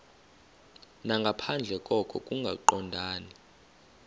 nangaphandle koko kungaqondani